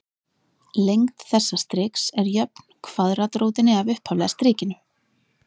lengd þessa striks er jöfn kvaðratrótinni af upphaflega strikinu